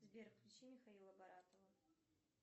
сбер включи михаила баратова